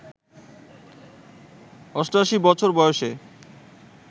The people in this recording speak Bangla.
৮৮ বছর বয়সে